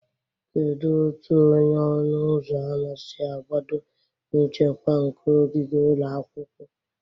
Kedu otu onye ọnụ ụzọ ámá si agbado nchekwa nke ogige ụlọ akwụkwọ?